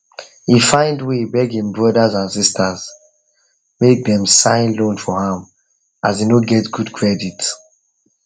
he find way beg him brothers and sisters make dem sign loan for am as he no get good credit